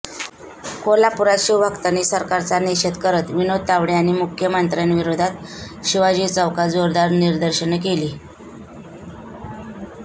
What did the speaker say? कोल्हापुरात शिवभक्तांनी सरकारचा निषेध करत विनोद तावडे आणि मुख्यमंत्र्यांविरोधात शिवाजी चौकात जोरदार निदर्शन केली